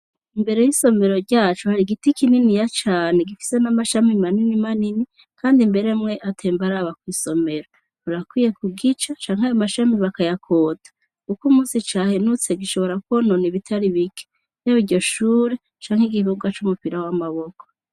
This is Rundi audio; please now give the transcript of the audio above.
imbere y'isomero ryacu hari igiti kininiya cane gifite n'amashami manini manini kandi mbere mwe atembaraba kw'isomero urakwiye ku gica canke amashami bakayakota kuko umunsi cahenutse gishobora konona ibitari bike aba iryo shure canke igikibuga c'umupira w'amaboko